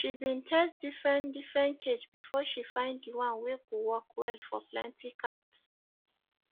she been test different different cage before she find the one wey go work well for plenty cats